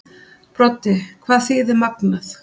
Broddi: Hvað þýðir magnað?